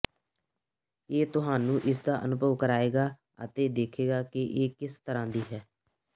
ਇਹ ਤੁਹਾਨੂੰ ਇਸਦਾ ਅਨੁਭਵ ਕਰਾਏਗਾ ਅਤੇ ਦੇਖੇਗਾ ਕਿ ਇਹ ਕਿਸ ਤਰ੍ਹਾਂ ਦੀ ਹੈ